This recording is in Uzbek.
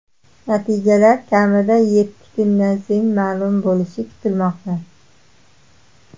Natijalar kamida yetti kundan so‘ng ma’lum bo‘lishi kutilmoqda.